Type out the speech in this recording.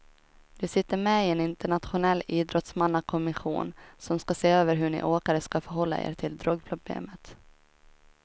Du sitter med i en internationell idrottsmannakommission som ska se över hur ni åkare ska förhålla er till drogproblemet.